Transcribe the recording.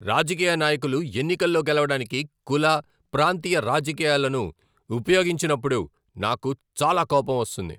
రాజకీయ నాయకులు ఎన్నికల్లో గెలవడానికి కుల, ప్రాంతీయ రాజకీయాలను ఉపయోగించినప్పుడు నాకు చాలా కోపం వస్తుంది.